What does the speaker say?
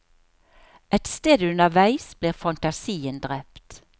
Et sted underveis blir fantasien drept.